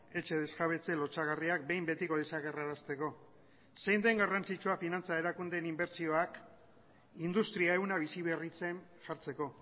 etxe desjabetze lotsagarriak behin betiko desagerrarazteko zein den garrantzitsua finantza erakundeen inbertsioak industria ehuna biziberritzen jartzeko